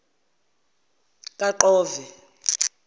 kaqove